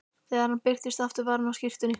Þegar hann birtist aftur var hann á skyrtunni.